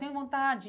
Tenho vontade.